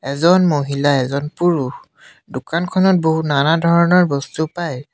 এজন মহিলা এজন পুৰুষ দোকানখনত বহু নানা ধৰণৰ বস্তু পায়।